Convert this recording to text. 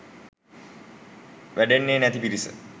වැඩෙන්නෙ නැති පිරිස.